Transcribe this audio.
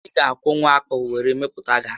Ị ga akwọnwu akpụ were mepụta garị